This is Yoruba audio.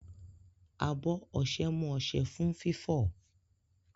Abọ ọṣẹ mú ọṣẹ fún fífọ̀.